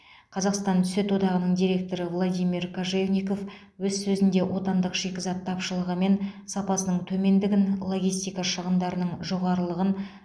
қазақстан сүт одағының директоры владимир кожевников өз сөзінде отандық шикізат тапшылығы мен сапасының төмендігін логистика шығындарының жоғарылығын